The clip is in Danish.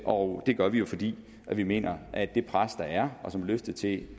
og det gør vi jo fordi vi mener at det pres der er og som er løftet til det